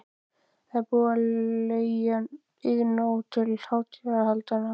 Það er búið að leigja Iðnó til hátíðahaldanna.